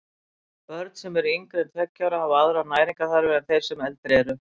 Börn sem eru yngri en tveggja ára hafa aðrar næringarþarfir en þeir sem eldri eru.